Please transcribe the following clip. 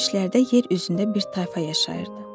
Keçmişlərdə yer üzündə bir tayfa yaşayırdı.